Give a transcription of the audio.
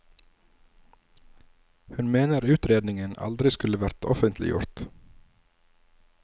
Hun mener utredningen aldri skulle vært offentliggjort.